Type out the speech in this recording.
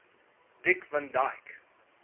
dick van dyke